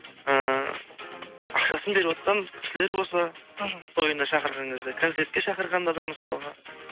ііі ақшасын беріватқан кісілер болса мхм тойына шақырған кезде концертке шақырғанда да мысалға